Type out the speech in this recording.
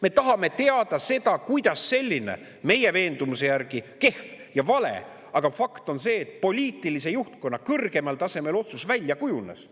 Me tahame teada, kuidas selline meie veendumuse järgi kehv ja vale otsus poliitilise juhtkonna kõrgemal tasemel – see on fakt – välja kujunes.